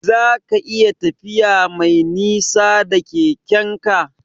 Zaka iya tafiya Mai nisa da Keke'n ka?